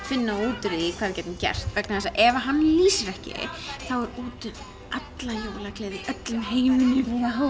finna út úr því hvað við gætum gert vegna þess að ef hann lýsir ekki þá er úti um alla jólagleði í öllum heiminum